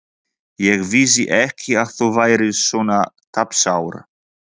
Ég vissi ekki að þú værir svona tapsár.